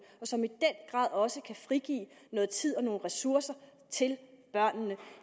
og som i den grad også kan frigive noget tid og nogle ressourcer til børnene